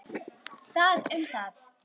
Það um það.